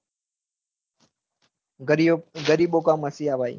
ગરિયો ગરીબો ક મસીહા ભાઈ